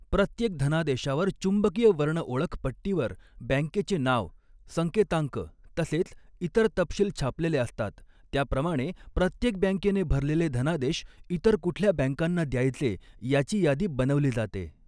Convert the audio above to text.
प्रत्येक धनादेशावर चुंबकीय वर्णओळख पट्टी वर बँकेचे नाव संकेतांक तसेच इतर तपशील छापलेले असतात त्या प्रमाणे प्रत्येक बँकेने भरलेले धनादेश इतर कुठल्या बँकांना द्यायचे याची यादी बनवली जाते.